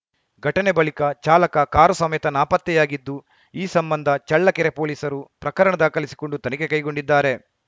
ಘಟನೆ ಬಳಿಕ ಚಾಲಕ ಕಾರು ಸಮೇತ ನಾಪತ್ತೆಯಾಗಿದ್ದು ಈ ಸಂಬಂಧ ಚಳ್ಳಕೆರೆ ಪೊಲೀಸರು ಪ್ರಕರಣ ದಾಖಲಿಸಿಕೊಂಡು ತನಿಖೆ ಕೈಗೊಂಡಿದ್ದಾರೆ